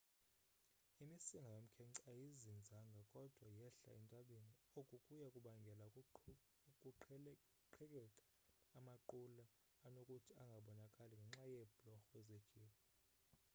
imisinga yomkhence ayizinzanga kodwa yehla entabeni oku kuya kubangela ukuqhekeka amaqula anokuthi angabonakali ngenxa yeebhlorho zekhephu